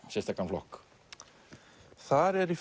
sérstakan flokk þar eru í